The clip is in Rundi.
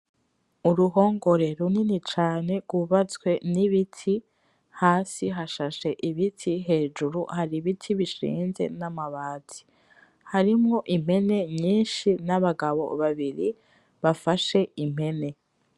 Uruhongore runini cane rwubatswe nibiti. hasi hashashe ibiti hejuru hari ibiti bishinze namabati harimo impene nyinshi nabagabo babiri bafashe impene .